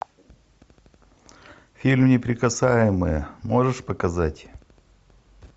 фильм неприкасаемые можешь показать